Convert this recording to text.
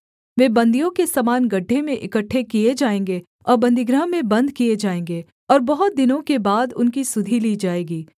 वे बन्दियों के समान गड्ढे में इकट्ठे किए जाएँगे और बन्दीगृह में बन्द किए जाएँगे और बहुत दिनों के बाद उनकी सुधि ली जाएगी